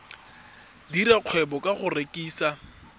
dira kgwebo ka go rekisa